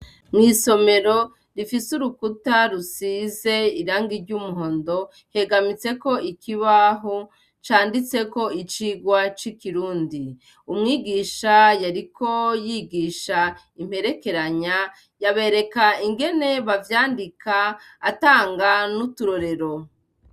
Mw'isomero ifise urukuta rusize irangi ry'umuhondo, hegamitseko ikibaho canditseko 'Icibwa c'Ikirundi'. Umwigisha yariko yigisha imperekeranya. Yabereka ingene bavyandika atanga n'uturorero.